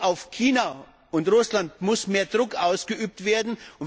Und auf China und Russland muss mehr Druck ausgeübt werden.